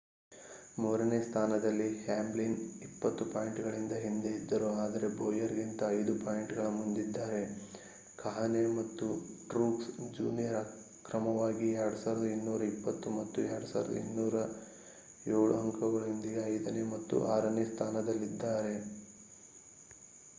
ಮೂರನೇ ಸ್ಥಾನದಲ್ಲಿ ಹ್ಯಾಮ್ಲಿನ್ 20 ಪಾಯಿಂಟ್‌ಗಳ ಹಿಂದೆ ಇದ್ದರು ಆದರೆ ಬೋಯರ್‌ಗಿಂತ 5 ಪಾಯಿಂಟ್‌ಗಳ ಮುಂದಿದ್ದಾರೆ. ಕಾಹ್ನೆ ಮತ್ತು ಟ್ರೂಕ್ಸ್ ಜೂನಿಯರ್ ಕ್ರಮವಾಗಿ 2,220 ಮತ್ತು 2,207 ಅಂಕಗಳೊಂದಿಗೆ ಐದನೇ ಮತ್ತು ಆರನೇ ಸ್ಥಾನದಲ್ಲಿದ್ದಾರೆ